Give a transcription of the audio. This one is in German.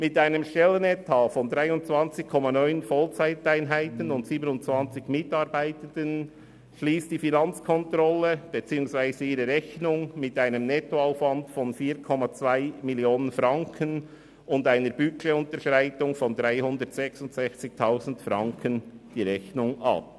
Mit einem Stellenetat von 23,9 Vollzeiteinheiten und 27 Mitarbeitenden schliesst die Finanzkontrolle ihre Rechnung mit einem Nettoaufwand von 4,2 Mio. Franken und einer Budgetunterschreitung von 366 000 Franken ab.